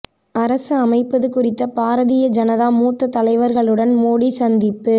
அரசு அமைப்பது குறித்த பாரதீய ஜனதா மூத்த தலைவர்களுடன் மோடி சந்திப்பு